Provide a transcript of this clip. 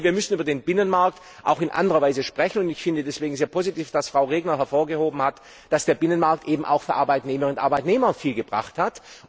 Wir müssen über den Binnenmarkt auch in anderer Weise sprechen. Ich finde es deshalb sehr positiv, dass Frau Regner hervorgehoben hat, dass der Binnenmarkt eben auch für Arbeitnehmerinnen und Arbeitnehmer viel gebracht hat.